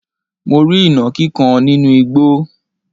mo rí ìnàkí kan nínú igbo